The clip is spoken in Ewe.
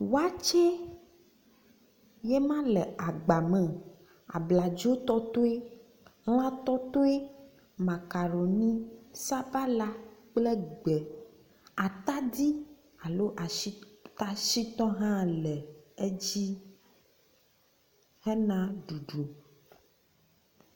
Waakye yema le agba me. Abladzo tɔtoe, lã tɔtoe, makaroni, sabala kple gbe, atadi alo ashi ata shitɔ hã le edzi hena ɖuɖu.